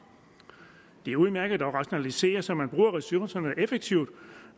det er udmærket at rationalisere så man bruger ressourcerne effektivt